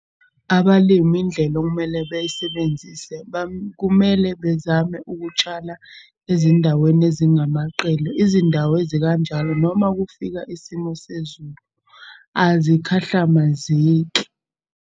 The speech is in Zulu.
Abalimi indlela okumele beyisebenzise kumele bezame ukutshala ezindaweni ezingamaqele. Izindawo ezikanjalo, noma kufika isimo sezulu azikhahlamezeki.